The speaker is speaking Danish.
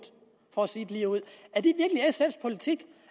for at sige det ligeud